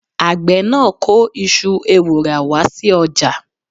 Àgbẹ̀ náà kó iṣu ewùrà wá sí ọjà.